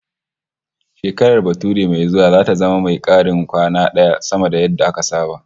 Shekarar bature mai zuwa zata zama mai karin kwana daya sama da yadda aka saba